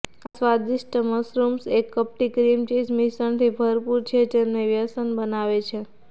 આ સ્વાદિષ્ટ મશરૂમ્સ એક કપટી ક્રીમ ચીઝ મિશ્રણથી ભરપૂર છે જે તેમને વ્યસન બનાવે છે